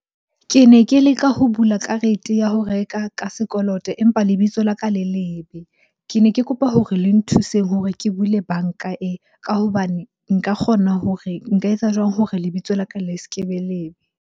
Ke ne ke leka ho bula karete ya ho reka ka sekoloto empa lebitso la ka le lebe. Ke ne ke kopa hore le nthuseng hore ke buile banka e, ka hobane nka kgona hore nka etsa jwang hore lebitso la ka le se kebe lebe.